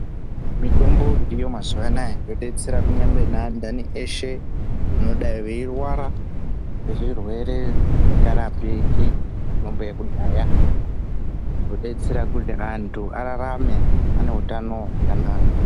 Mitombo iriyo mazuva anawa yodetsera neandani eshe veidai veirwara zvirwere zvisingarapiki ngemitombo yekudhaya zvodetsera kuti vantu vararame vane utano hwakanaka.